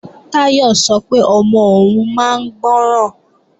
Táyọ̀ sọ pé ọmọ òun máa ń gbọ́ràn